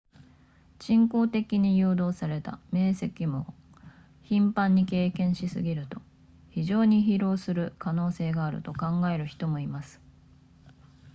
人工的に誘導された明晰夢を頻繁に経験しすぎると非常に疲弊する可能性があると考える人もいます